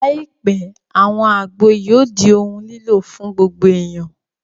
Láìpẹ́, àwọn àgbo yóò di ohun lílò fún gbogbo èèyàn